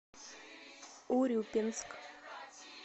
урюпинск